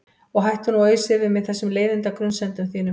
Og hættu nú að ausa yfir mig þessum leiðinda grunsemdum þínum.